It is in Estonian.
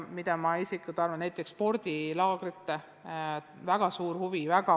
Väga suur huvi on näiteks spordilaagrite vastu.